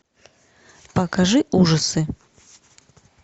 покажи ужасы